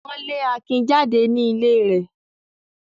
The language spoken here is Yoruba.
Wọ́n le Akin jáde ní ilé rẹ̀.